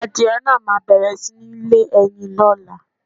Àdie naà ma bẹẹ̀rẹ̀ si nì lé ẹyin ló̩la